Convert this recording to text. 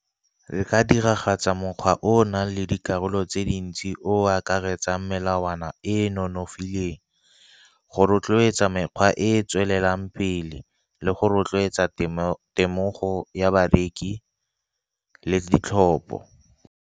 Ke ka diragatsa mokgwa o o nang le dikarolo tse dintsi o akaretsang melawana e e nonofileng, go rotloetsa mekgwa e e tswelelang pele le go rotloetsa temogo ya bareki le ditlhopo.